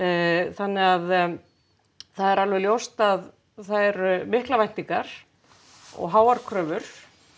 þannig að það er ljóst að það eru miklar væntingar og háar kröfur